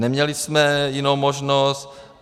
Neměli jsme jinou možnost.